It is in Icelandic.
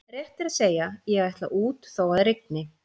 Rétt er að segja: ég ætla út þó að rigni